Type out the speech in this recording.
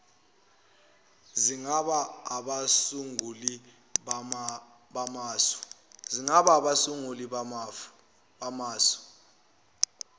singaba abasunguli bamasu